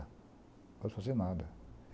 Não pode fazer nada.